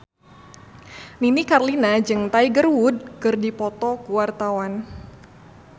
Nini Carlina jeung Tiger Wood keur dipoto ku wartawan